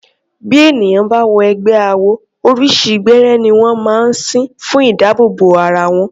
Bí ènìyàn bá wọ ẹgbẹ́ awo, oríṣi gbẹ́rẹ́ ní wọ́n máa ń sín fún ìdábòòbò bo ara wọn.